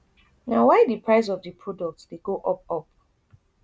na why di price of di product dey go up up